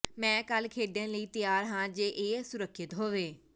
ਮੈਂ ਕੱਲ੍ਹ ਖੇਡਣ ਲਈ ਤਿਆਰ ਹਾਂ ਜੇ ਇਹ ਸੁਰੱਖਿਅਤ ਹੋਵੇ